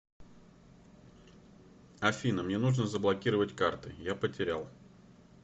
афина мне нужно заблокировать карты я потерял